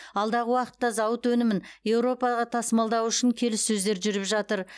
алдағы уақытта зауыт өнімін еуропаға тасымалдау үшін келіссөздер жүріп жатыр